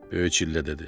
Böyük çillə dedi.